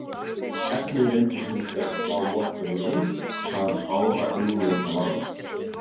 Efnið reyndist hins vegar slá morfínið út hvað báða eiginleika varðar.